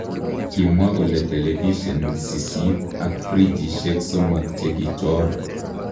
Kimwa kole televishen sisit ak frijishek somok chekichoor.